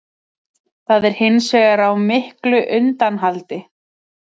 Það er hins vegar á miklu undanhaldi